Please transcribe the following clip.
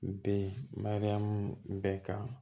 Be mariyamu bɛɛ ka